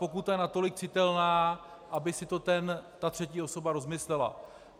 Pokuta je natolik citelná, aby si to ta třetí osoba rozmyslela.